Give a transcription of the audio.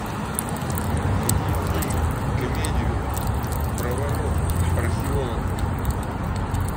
найди фильм комедию про воров археологов